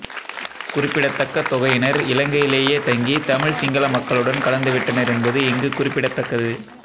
குறிப்பிடத்தக்க தொகையினர் இலங்கையிலேயே தங்கி தமிழ் சிங்கள மக்களுடன் கலந்துவிட்டனர் என்பது இங்கு குறிப்பிடத்தகக்து